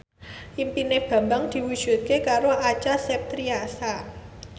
impine Bambang diwujudke karo Acha Septriasa